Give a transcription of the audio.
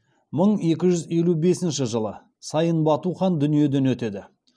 мың екі жүз елу бесінші жылы сайын бату хан дүниеден өтеді